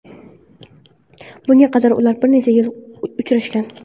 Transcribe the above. Bunga qadar ular bir necha yil uchrashgan.